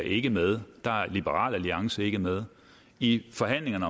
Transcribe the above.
ikke med der er liberal alliance ikke med i forhandlingerne